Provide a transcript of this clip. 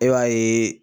E b'a ye